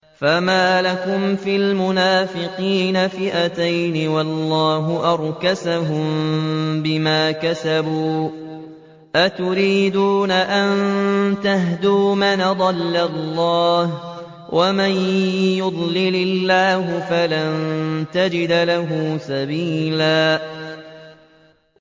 ۞ فَمَا لَكُمْ فِي الْمُنَافِقِينَ فِئَتَيْنِ وَاللَّهُ أَرْكَسَهُم بِمَا كَسَبُوا ۚ أَتُرِيدُونَ أَن تَهْدُوا مَنْ أَضَلَّ اللَّهُ ۖ وَمَن يُضْلِلِ اللَّهُ فَلَن تَجِدَ لَهُ سَبِيلًا